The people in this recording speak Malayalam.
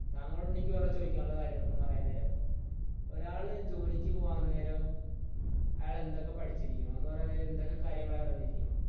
താങ്കളോട് എനിക്ക് വേറെ ചോദിക്കാനുള്ള കാര്യം എന്ന് പറയാൻ നേരം ഒരാൾ ജോലിക്ക് പോവാൻ നേരം അയാൾ എന്തൊക്കേ പഠിച്ചിരിക്കണം എന്ന് പറയാൻ നേരം എന്തൊക്ക കാര്യങ്ങൾ അറിഞ്ഞിരിക്കണം